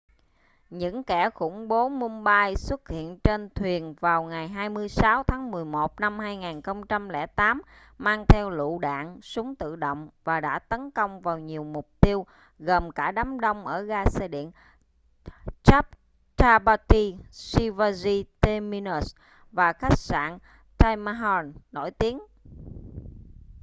những kẻ khủng bố mumbai xuất hiện trên thuyền vào ngày 26 tháng 11 năm 2008 mang theo lựu đạn súng tự động và đã tấn công vào nhiều mục tiêu gồm cả đám đông ở ga xe điện chhatrapati shivaji terminus và khách sạn taj mahal nổi tiếng